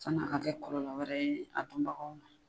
San'a ka kɛ kɔlɔlɔ wɛrɛ ye a dunbagaw ma.